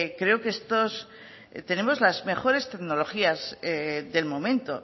creo que estos tenemos las mejores tecnologías del momento